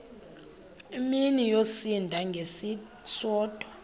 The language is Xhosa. mini yosinda ngesisodwa